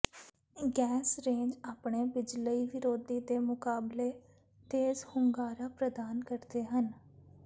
gas range ਆਪਣੇ ਬਿਜਲਈ ਵਿਰੋਧੀ ਦੇ ਮੁਕਾਬਲੇ ਤੇਜ਼ ਹੁੰਗਾਰਾ ਪ੍ਰਦਾਨ ਕਰਦੇ ਹਨ